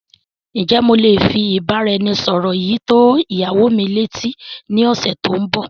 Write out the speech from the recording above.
Ǹ jẹ́ mo lé fi ìbáraẹnisọọ̀rọ̀ yìí tó ìyàwó mi lé etí ni ọ̀sẹ̀ tòun bọ́.